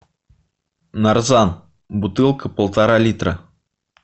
нарзан бутылка полтора литра